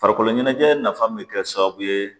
Farikolo ɲɛnajɛ nafa min kɛra sababu ye